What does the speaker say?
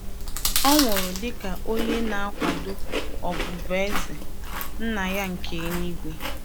Ọ nwụrụ dị ka onye na-akwado ọbụbụeze Nna ya nke eluigwe.